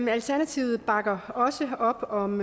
alternativet bakker også op om